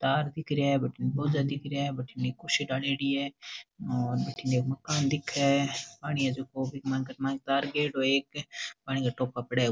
तार दिख रेहा है बटीन पौधा दिख रहा है बटीन एक कुर्सी डालेड़ी है और बटीन एक मकान दिखे है पानी है जको बीक मायने कर एक तार गयोड़ो है एक पानी को टोपा पड़े।